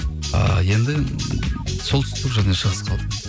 ыыы енді солтүстік және шығыс қалды